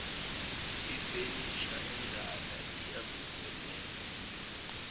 ifenisha endala iyavuselelwa